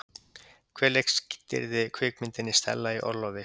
Hver leikstýrði kvikmyndinni Stella í orlofi?